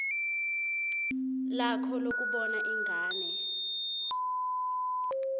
lakho lokubona ingane